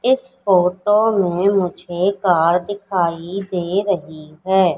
इस फोटो में मुझे कार दिखाई दे रही है।